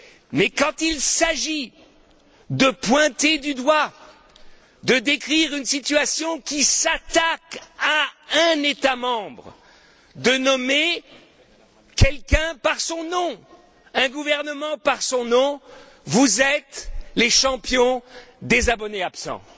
Mais quand il s'agit de pointer du doigt, de décrire une situation qui s'attaque à un État membre, de nommer quelqu'un par son nom, un gouvernement par son nom, vous êtes les champions des abonnés absents.